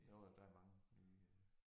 Jo jo der mange nye øh